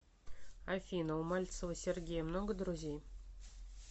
афина у мальцева сергея много друзей